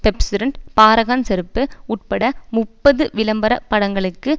Pepsodent Paragon செருப்பு உட்பட முப்பது விளம்பர படங்களுக்கு